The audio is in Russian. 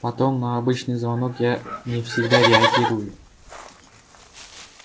потом на обычный звонок я не всегда реагирую